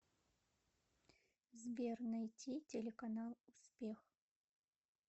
сбер найти телеканал успех